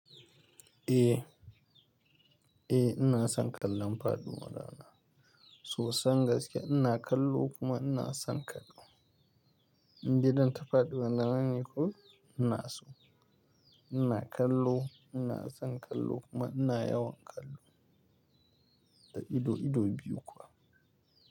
Eh, eh ina son kallon faɗuwar rana. Sosan gaske ina kallo kuma ina son kallo. Indai dan ta faɗuwan nawa ne ko ina so. Ina kallo, ina son kallo kuma ina yawan kallo da ido, ido biyu kuwa.